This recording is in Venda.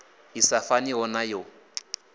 i sa faniho na yo